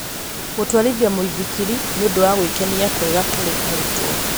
Gũtwarithia mũithikiri nĩ ũndũ wa gwĩkenia kwega kũrĩ arutwo.